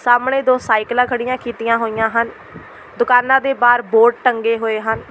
ਸਾਹਮਣੇ ਦੋ ਸਾਈਕਲਾਂ ਖੜ੍ਹੀਆਂ ਕੀਤੀਆਂ ਹੋਈਆਂ ਹਨ ਦੁਕਾਨਾਂ ਦੇ ਬਾਹਰ ਬੋਰਡ ਟੰਗੇ ਹੋਏ ਹਨ।